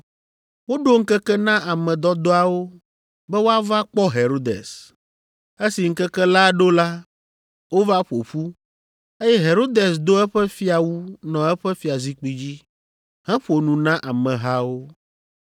Woɖo ŋkeke na ame dɔdɔawo be woava kpɔ Herodes. Esi ŋkeke la ɖo la, wova ƒo ƒu, eye Herodes do eƒe fiawu nɔ eƒe fiazikpui dzi, heƒo nu na amehawo.